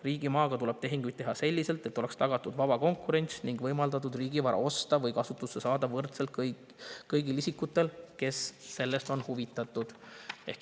Riigimaaga tuleb tehinguid teha selliselt, et oleks tagatud vaba konkurents ning kõigile isikutele, kes on sellest huvitatud, oleks võrdselt võimaldatud riigivara osta või enda kasutusse saada.